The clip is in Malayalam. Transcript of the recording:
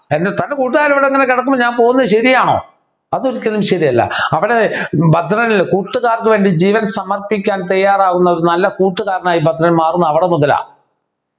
എൻ്റെ തൻ്റെ കൂട്ടുകാർ ഇവിടെ തന്നെ കിടക്കുമ്പോൾ ഞാൻ പോകുന്നത് ശരിയാണോ അതൊരിക്കലും ശരിയല്ല അവന് ഭദ്രൻ കൂട്ടുകാർക്ക് വേണ്ടി ജീവൻ സമർപ്പിക്കാൻ തയ്യാറാവുന്ന ഒരു നല്ല കൂട്ടുകാരൻ ആയി ഭദ്രൻ മാറുന്നത് അവിടെ മുതലാ